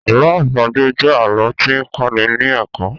Àlọ àpagbè jẹ alọ ti n kọ́ ní ní ẹ̀kọ́